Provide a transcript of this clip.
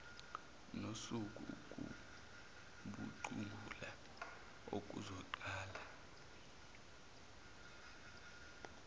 nosuku ukucubungula okuzoqala